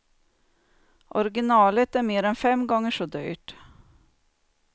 Originalet är mer än fem gånger så dyrt.